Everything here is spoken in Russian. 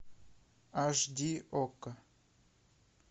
аш ди окко